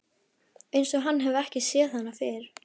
Einsog hann hafi ekki séð hana fyrr.